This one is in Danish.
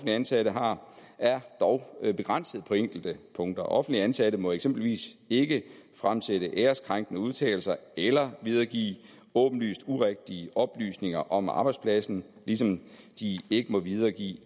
ansatte har er dog begrænset på enkelte punkter offentligt ansatte må eksempelvis ikke fremsætte æreskrænkende udtalelser eller videregive åbenlyst urigtige oplysninger om arbejdspladsen ligesom de ikke må videregive